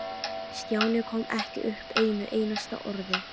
Stjáni kom ekki upp einu einasta orði.